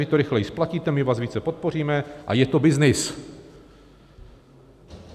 Vy to rychleji splatíte, my vás více podpoříme, a je to byznys.